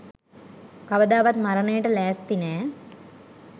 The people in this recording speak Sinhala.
කවදාවත් මරණයට ලෑස්ති නෑ.